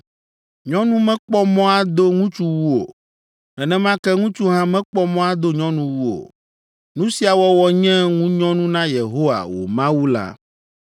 “Nyɔnu mekpɔ mɔ ado ŋutsuwu o. Nenema ke ŋutsu hã mekpɔ mɔ ado nyɔnuwu o. Nu sia wɔwɔ nye ŋunyɔnu na Yehowa, wò Mawu la.